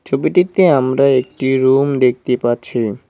ছবিটিতে আমরা একটি রুম দেখতে পাচ্ছি।